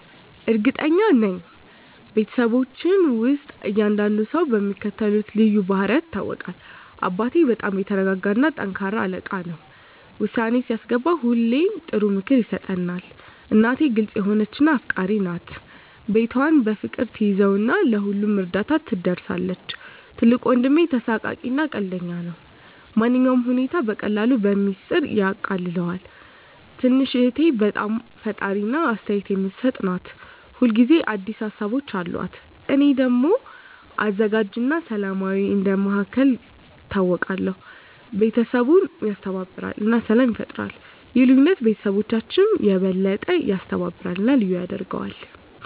እርግጠኛ ነኝ፤ በቤተሰባችን ውስጥ እያንዳንዱ ሰው በሚከተሉት ልዩ ባህሪያት ይታወቃል - አባቴ በጣም የተረጋጋ እና ጠንካራ አለቃ ነው። ውሳኔ ሲያስገባ ሁሌ ጥሩ ምክር ይሰጣል። እናቴ ግልጽ የሆነች እና አፍቃሪች ናት። ቤቷን በፍቅር ትያዘው እና ለሁሉም እርዳታ ትደርሳለች። ትልቁ ወንድሜ ተሳሳቂ እና ቀልደኛ ነው። ማንኛውንም ሁኔታ በቀላሉ በሚስጥር ያቃልለዋል። ትንሽ እህቴ በጣም ፈጣሪ እና አስተያየት የምትሰጥ ናት። ሁል ጊዜ አዲስ ሀሳቦች አሉት። እኔ ደግሞ አዘጋጅ እና ሰላማዊ እንደ መሃከል ይታወቃለሁ። ቤተሰቡን ያስተባብራል እና ሰላም ይፈጥራል። ይህ ልዩነት ቤተሰባችንን የበለጠ ያስተባብራል እና ልዩ ያደርገዋል።